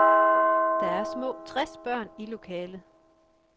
Der er små tres børn i lokalet.